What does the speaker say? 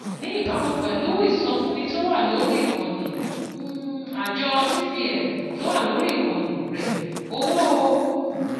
Ní ìbámu pẹ̀lú ìsọfúnni tó wà lórí ìkànnì um àjọ cbn tó wà lórí ìkànnì rẹ̀, owó um